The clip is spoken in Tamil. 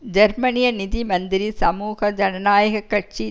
ஜெர்மனிய நிதி மந்திரி சமூக ஜனநாயக கட்சி